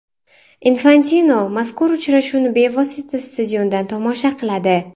Infantino mazkur uchrashuvni bevosita stadiondan tomosha qiladi.